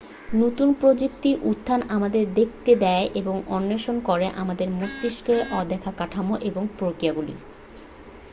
নতুন প্রযুক্তির উত্থান আমাদের দেখতে দেয় এবং অন্বেষণ করে আমাদের মস্তিষ্কের অদেখা কাঠামো এবং প্রক্রিয়াগুলি